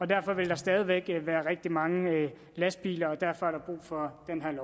derfor vil der stadig væk være rigtig mange lastbiler